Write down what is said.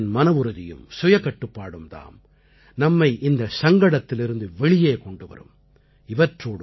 ஒவ்வொரு இந்தியரின் மனவுறுதியும் சுயகட்டுப்பாடும் தாம் நம்மை இந்தச் சங்கடத்திலிருந்து வெளியே கொண்டு வரும்